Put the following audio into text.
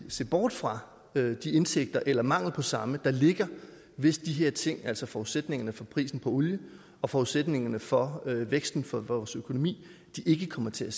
se bort fra de indsigter eller mangel på samme der ligger hvis de her ting altså forudsætningerne for prisen på olie og forudsætningerne for væksten for vores økonomi ikke kommer til